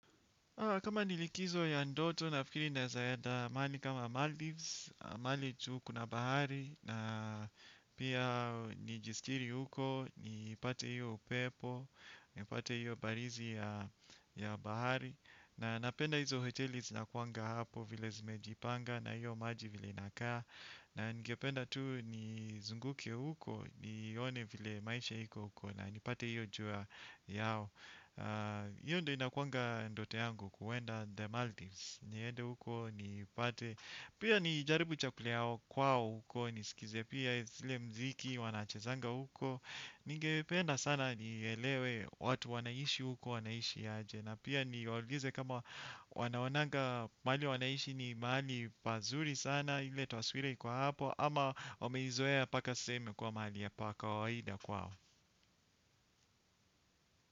Kama nilikizo ya ndoto nafikiri naezaenda maali kama Maldives, maali tu kuna bahari na pia nijisitiri huko, nipate hiyo upepo, nipate hiyo barizi ya bahari. Na napenda hizo hoteli zinakuanga hapo vile zimejipanga na hiyo maji vile inakaa. Na ningependa tu nizunguke huko, nione vile maisha iko huko na nipate hiyo jua yao. Hiyo ndio inakuanga ndoto yangu kuwenda The Maldives. Niende huko nipate pia nijaribu chakula ya kwao huko. Nisikize pia zile mziki wanachezanga huko. Ningependa sana nielewe watu wanaishi huko wanaishi aje. Na pia ni waulize kama wanaonanga maali wanaishi ni maali pazuri sana. Ile taswira iko hapo. Ama wameizoea paka sasa imekuwa maali ya pa kawaida kwao.